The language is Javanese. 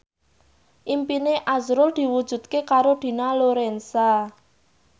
impine azrul diwujudke karo Dina Lorenza